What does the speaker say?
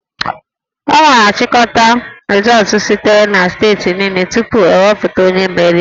A ga-achịkọta rịzọọtụ sitere na steeti niile tupu ekwuputa onye meriri